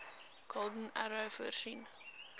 golden arrow voorsien